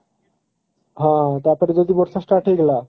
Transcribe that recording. ହଁ ତା ପରେ ଯଦି ବର୍ଷା start ହେଇଗଲା